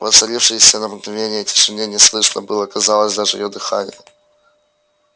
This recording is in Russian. в воцарившейся на мгновение тишине не слышно было казалось даже её дыхания